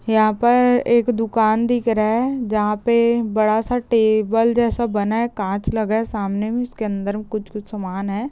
यहाँ पर एक दूकान दिख रहा है जहाँ पे बड़ा सा टेबल जैसा बना है काच लगा है सामने में इसके अंदर कुछ-कुछ सामान है।